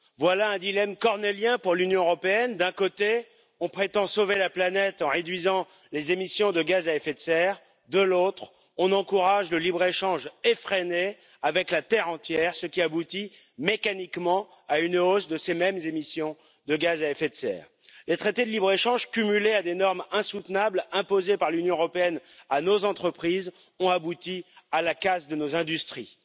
Voilà un dilemme cornélien pour l'Union européenne d'un côté, on prétend sauver la planète en réduisant les émissions de gaz à effet de serre, de l'autre, on encourage un libre échange effréné avec la terre entière, ce qui entraîne mécaniquement une hausse des mêmes émissions de gaz à effet de serre. Les traités de libre échange cumulés à des normes insoutenables imposées par l'Union européenne à nos entreprises ont abouti à la casse de nos industries.